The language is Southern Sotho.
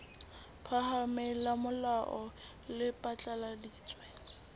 phahameng la molao le phatlaladitse